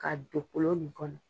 Ka don kolo nin kɔnɔ